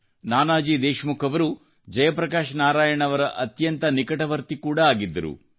ನಾನಾಜಿ ದೇಶ್ಮುಖ್ ಅವರು ಜಯಪ್ರಕಾಶ್ ನಾರಾಯಣ್ ಅವರ ಅತ್ಯಂತ ನಿಕಟವರ್ತಿ ಕೂಡ ಆಗಿದ್ದರು